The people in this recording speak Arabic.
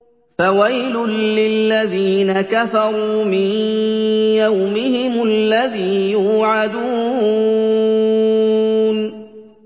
فَوَيْلٌ لِّلَّذِينَ كَفَرُوا مِن يَوْمِهِمُ الَّذِي يُوعَدُونَ